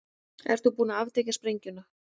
Ert þú búin að aftengja sprengjuna?